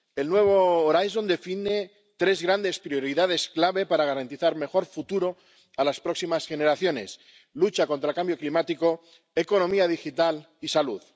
El nuevo Horizonte define tres grandes prioridades clave para garantizar mejor futuro a las próximas generaciones lucha contra el cambio climático, economía digital y salud.